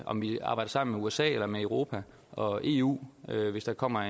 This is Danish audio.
om vi arbejder sammen med usa eller med europa og eu hvis der kommer